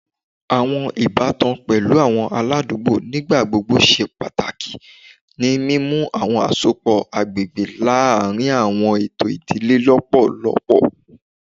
Awọn ibatan pẹlu awọn aladugbo nigbagbogbo ṣe pataki ni mimu awọn asopọ agbegbe laarin awọn eto idile lọpọlọpọ